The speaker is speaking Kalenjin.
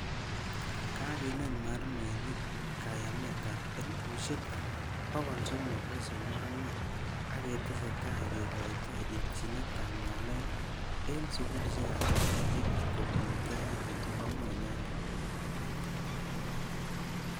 Kageneet mwalimuinik kaayamet ap 331,000 agetesetai kegoitoi itchiinet ap ng'alek eng' sugulisiek ap serkaliit kobun KICD"komwa inendet.